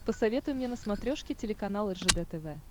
посоветуй мне на смотрешке телеканал ржд тв